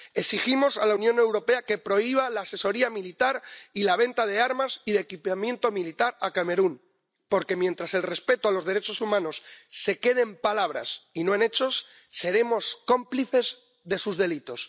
Exigimos a la Unión Europea que prohíba la asesoría militar y la venta de armas y de equipamiento militar a Camerún, porque mientras el respeto de los derechos humanos se quede en palabras y no en hechos seremos cómplices de sus delitos.